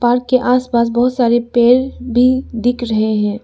Park के आसपास बहोत सारे पेड़ भी दिख रहे हैं।